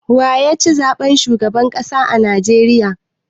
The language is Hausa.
Wa ya ci zaɓen shugaban ƙasa a Najeriya?